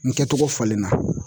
Nin kɛcogo falen na